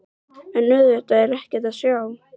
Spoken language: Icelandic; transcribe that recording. En auðvitað er ekkert að sjá.